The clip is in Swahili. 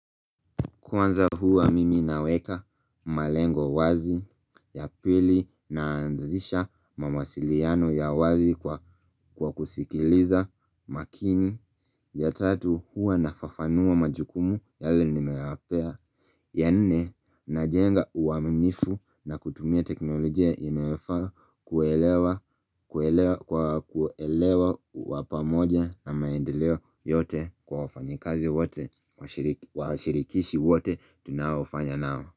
Kwanza huwa mimi naweka malengo wazi ya pili naanzisha mawasiliano ya wazi kwa kusikiliza makini ya tatu huwa nafafanua majukumu yale nimeapea. Ya nnne na jenga uwaminifu na kutumia teknolojia inayofaa kuelewa kuelewa wapamoja na maendeleo yote kwa wafanyikazi wote wa shirikishi wote tunawafanya nao.